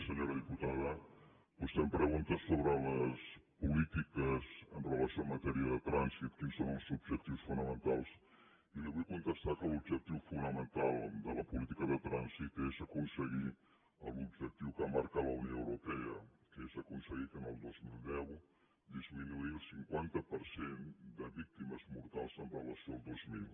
senyora diputada vostè em pregunta sobre les polítiques amb relació en matèria de trànsit quins són els objectius fonamentals i li vull contestar que l’objectiu fonamental de la política de trànsit és aconseguir l’objectiu que marca la unió europea que és aconseguir el dos mil deu disminuir el cinquanta per cent de víctimes mortals amb relació al dos mil